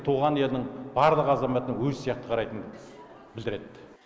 туған елінің барлық азаматына өзі сияқты қарайтынын білдіреді